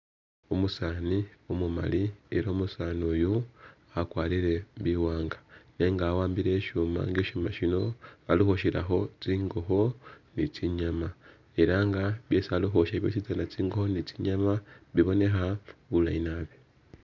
Umusaani umumali ela umusani uyu wakwarire biwanga nenga wa'ambile shuma nga e shuma shino bali ukhwoshelakho tsingokho ni tsinyama ela nga byesi bali khwosha byositsana tsingokho ne tsinyama bibonekha bulayi naabi